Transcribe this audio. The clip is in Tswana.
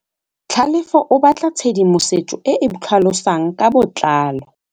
Tlhalefô o batla tshedimosetsô e e tlhalosang ka botlalô.